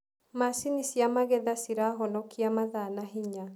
Macini cia magetha cirahonokia mathaa na hinya.